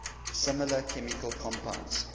similar chemical compounds